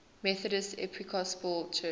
methodist episcopal church